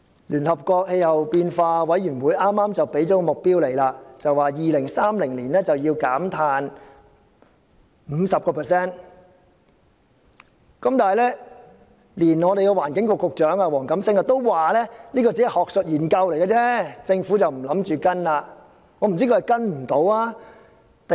聯合國氣候變化委員會剛剛提出了這方面的目標，表示在2030年要減碳 50%， 但環境局局長黃錦星也表示這只是學術研究，政府不打算跟隨。